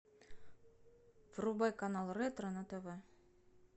врубай канал ретро на тв